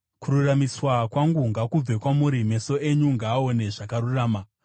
Kururamiswa kwangu ngakubve kwamuri; meso enyu ngaaone zvakarurama.